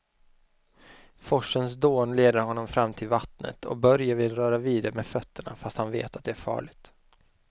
Forsens dån leder honom fram till vattnet och Börje vill röra vid det med fötterna, fast han vet att det är farligt.